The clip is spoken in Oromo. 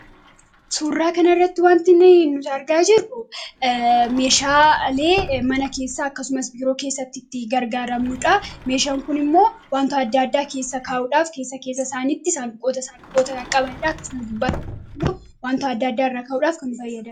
Suuraa kanaa irratti wantonni nuti argaa jirru meeshaalee mana keessa akkasumas biiroo keessatti itti gargaaramnudha. Meeshaan kun immoo wantoota adda addaa keessa kaa'uudhaaf keessa keessa isaaniitti isaan saanduqoota isaan qabaniidha. Akkasumas gubbaatammuu wantoota adda addaa irraa kaa'uudhaaf kan fayyada.